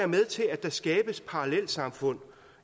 med til at der skabes parallelsamfund